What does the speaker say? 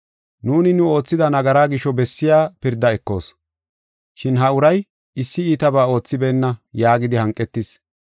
Nuuni nu oothida nagaraa gisho bessiya pirda ekoos, shin ha uray issi iitabaa oothibeenna” yaagidi hanqetis.